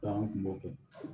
an kun b'o kɛ